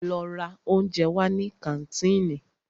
Lọ ra óúnjẹ wá ní kàńtìnì!